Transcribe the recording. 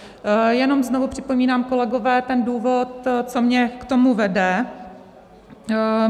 Jenom znovu připomínám, kolegové, ten důvod, co mě k tomu vede.